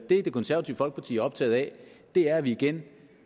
det konservative folkeparti er optaget af er at vi igen